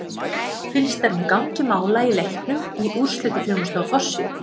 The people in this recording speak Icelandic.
Fylgst er með gangi mála í leiknum í úrslitaþjónustu á forsíðu.